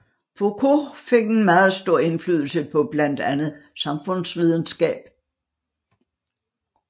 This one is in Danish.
Foucault fik en meget stor indflydelse på blandt andet samfundsvidenskab